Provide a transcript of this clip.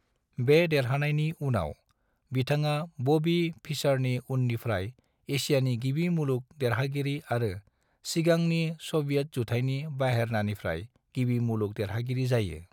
बे देरहानायनि उनाव, बिथाङा बॉबी फिशरनि उननिफ्राय एसियानि गिबि मुलुग देरहागिरि आरो सिगांनि सोवियत जुथाइनि बाहेरानिफ्राय गिबि मुलुग देरहागिरि जायो।